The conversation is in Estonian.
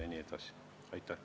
Aitäh!